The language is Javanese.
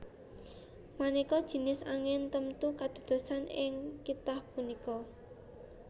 Maneka jinis angin temtu kadadosan ing kitha punika